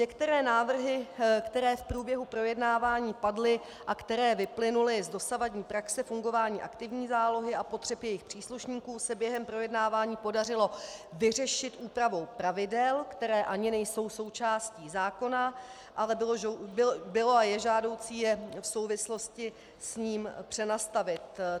Některé návrhy, které v průběhu projednávání padly a které vyplynuly z dosavadní praxe fungování aktivní zálohy a potřeb jejich příslušníků, se během projednávání podařilo vyřešit úpravou pravidel, která ani nejsou součástí zákona, ale bylo a je žádoucí je v souvislosti s ním přenastavit.